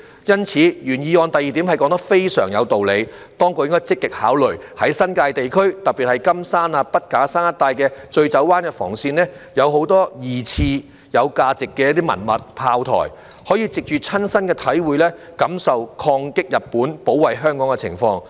因此，原議案第二點說得非常有道理，當局應該積極考慮，在新界地區，特別是金山、筆架山一帶的醉酒灣防線，有很多二次大戰時期有價值的文物、炮台，可以藉着親身的體會，感受抗擊日本、保衞香港的情況。